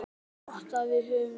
Það er gott að við höfum næði.